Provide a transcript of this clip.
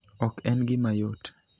Ok en gima yot.